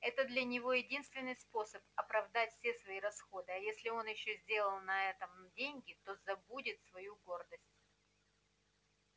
это для него единственный способ оправдать все свои расходы а если он ещё сделает на этом деньги то забудет свою гордость